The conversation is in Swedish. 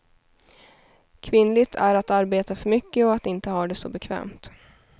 Kvinnligt är att arbeta för mycket och att inte ha det så bekvämt.